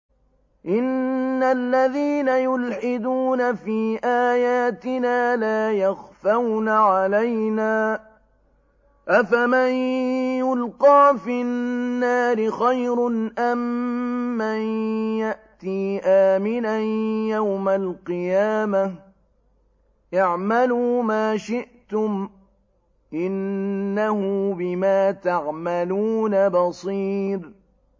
إِنَّ الَّذِينَ يُلْحِدُونَ فِي آيَاتِنَا لَا يَخْفَوْنَ عَلَيْنَا ۗ أَفَمَن يُلْقَىٰ فِي النَّارِ خَيْرٌ أَم مَّن يَأْتِي آمِنًا يَوْمَ الْقِيَامَةِ ۚ اعْمَلُوا مَا شِئْتُمْ ۖ إِنَّهُ بِمَا تَعْمَلُونَ بَصِيرٌ